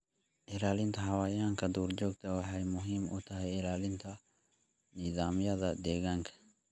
Ilaalinta xayawaanka duurjoogta ah waxay muhiim u tahay ilaalinta nidaamyada deegaanka.